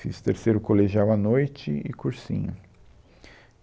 Fiz terceiro colegial à noite e cursinho.